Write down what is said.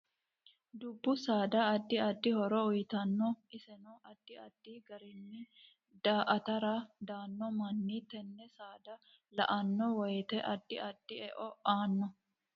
Dubbu saada addi addi horo uyiitanno iseno addi addi gariino daa'tara daanno manni tenne saada la'anno woyiite addi addi e'o aanno